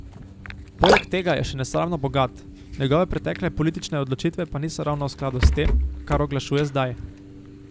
Poleg tega je še nesramno bogat, njegove pretekle politične odločitve pa niso ravno v skladu s tem, kar oglašuje zdaj.